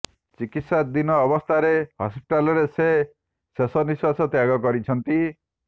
ଚିକିତ୍ସାଧୀନ ଅବସ୍ଥାରେ ହସ୍ପିଟାଲରେ ସେ ଶେଷ ନିଶ୍ୱାସ ତ୍ୟାଗ କରିଛନ୍ତି